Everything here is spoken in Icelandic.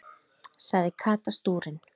sagði Kata stúrin.